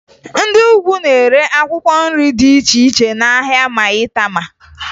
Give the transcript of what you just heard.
Ndị Ugwu na-ere akwụkwọ nri dị iche iche n'ahịa Mayịtama